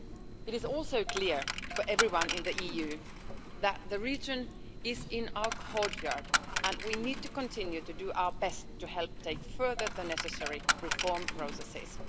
It is also clear for everyone in the EU that the region is in our courtyard and, we need to continue to do our best to help take further the necessary reform processes.